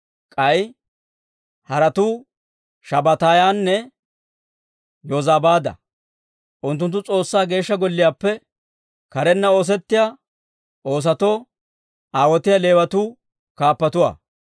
K'ay haratuu Shabbataayanne Yozabaada; unttunttu S'oossaa Geeshsha Golliyaappe karenna oosettiyaa oosotoo aawotiyaa Leewatuu kaappatuwaa.